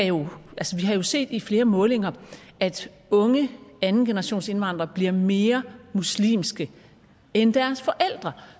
jo set i flere målinger at unge andengenerationsindvandrere bliver mere muslimske end deres forældre